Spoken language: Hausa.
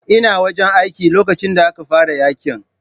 Ina wajen aikin lokacin da aka fara yaƙin.